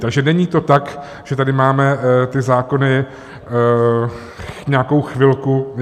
Takže není to tak, že tady máme ty zákony nějakou chvilku.